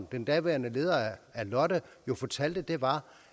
den daværende leder af lotte jo fortalte var